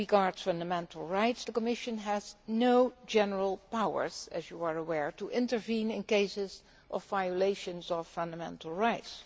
As regards fundamental rights, the Commission has no general powers as you are aware to intervene in cases of violations of fundamental rights.